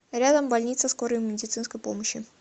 рядом больница скорой медицинской помощи